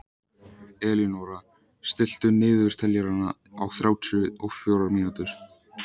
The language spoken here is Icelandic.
Elínóra, stilltu niðurteljara á þrjátíu og fjórar mínútur.